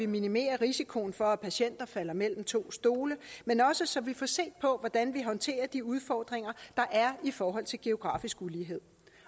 minimerer risikoen for at patienter falder mellem to stole men også så vi får set på hvordan vi håndterer de udfordringer der er i forhold til geografisk ulighed